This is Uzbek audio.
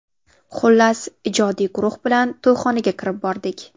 Xullas, ijodiy guruh bilan to‘yxonaga kirib bordik.